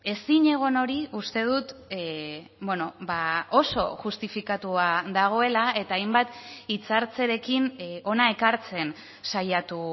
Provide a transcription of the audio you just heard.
ezinegon hori uste dut oso justifikatua dagoela eta hainbat hitzartzerekin hona ekartzen saiatu